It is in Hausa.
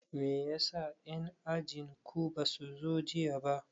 Meyasa en ajin ku basu zo jiya ba